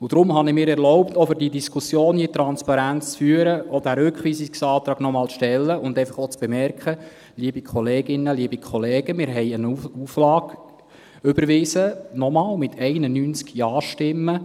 Deshalb habe ich mir erlaubt – auch, um diese Diskussion hier transparent zu führen –, diesen Rückweisungsantrag noch einmal zu stellen und einfach auch zu bemerken, liebe Kolleginnen, liebe Kollegen: Wir haben eine Auflage überwiesen, noch einmal, mit 91 Ja-Stimmen.